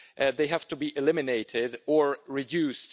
They have to be eliminated or reduced.